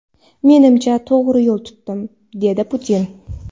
Menimcha, to‘g‘ri yo‘l tutdim”, − dedi Putin.